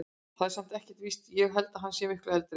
Það er samt ekkert víst. ég held að hann sé miklu eldri.